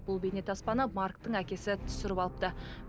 бұл бейне таспаны марктің әкесі түсіріп алыпты